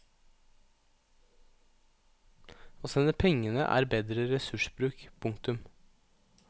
Å sende pengene er er bedre ressursbruk. punktum